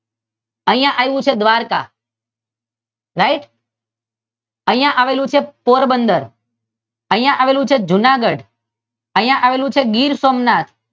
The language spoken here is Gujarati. અહિયાં આવ્યું છે દ્વારકા રાઇટ? અહિયાં આવેલૂ છે પોરબંદર અહિયાં આવેલૂ છે જૂનાગઢ અહિયાં આવેલૂ છે ગીર સોમનાથ